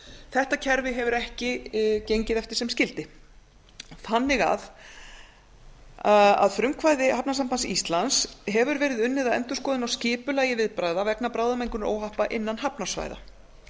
þetta kerfi hefur ekki gengið eftir sem skyldi að frumkvæði hafnasambands íslands hefur verið unnið að endurskoðun á skipulagi viðbragða vegna bráðamengunaróhappa innan hafnarsvæða